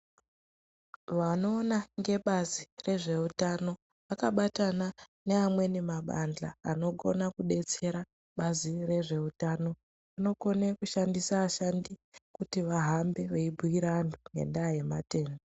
Vanoona ngebazi rezveutano vakabatana neamweni mabandhla anokona kudetsera bazi rezveutano, vanokone kushandise ashandi kuti vahambe veibhuira anthu ngendaa yematenda.